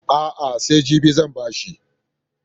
A'a, sai jibi zan ba shi.